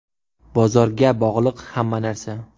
Bozorga bog‘liq hamma narsa.